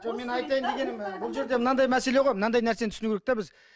жоқ менің айтайын дегенім і бұл жерде мынандай мәселе ғой мынадай нәрсені түсіну керек те біз